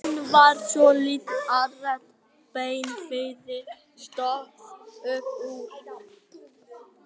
Hún var svo lítil að rétt blánefið stóð upp úr.